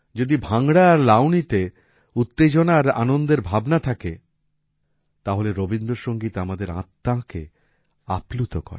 যদি ভাংড়া আর লাবনীতে উত্তেজনা আর আনন্দের ভাবনা থাকে তাহলে রবীন্দ্র সংগীত আমাদের আত্মাকে আপ্লুত করে